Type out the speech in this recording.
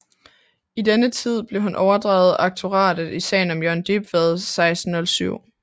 I denne tid blev han overdraget aktoratet i sagen mod Jørgen Dybvad 1607